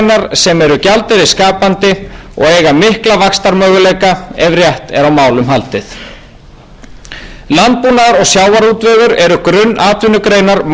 sem eru gjaldeyrisskapandi og eiga mikla vaxtarmöguleika ef rétt er á málum haldið landbúnaður og sjávarútvegur eru grunnatvinnugreinar margra byggðalaga og ný ríkisstjórn setur fram öfluga framtíðarsýn